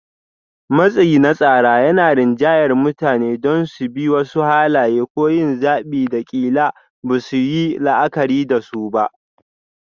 Matsi na tsara yana rinjayar mutane don su bi wasu halaye ko yin zaɓin da ƙila ba za su yi la'akari da su ba.